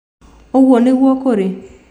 Ũguo nĩguo kũrĩ?